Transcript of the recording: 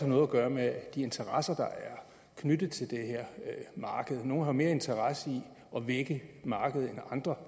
noget at gøre med de interesser der er knyttet til det her marked nogle har mere interesse i at vække markedet end andre